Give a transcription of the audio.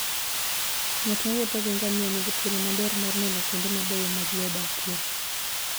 Ng'at mowuotho gi ngamia nigi thuolo maber mar neno kuonde mabeyo ma ji odakie.